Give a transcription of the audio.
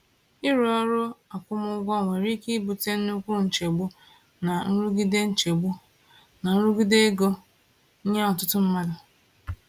Ịrụ ọrụ akwụmụgwọ nwere ike ibute nnukwu nchegbu na nrụgide nchegbu na nrụgide ego nye ọtụtụ mmadụ.